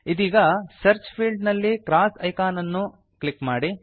ಈದೀಗ search field ನಲ್ಲಿ cross icon ಅನ್ನು click ಮಾಡಿ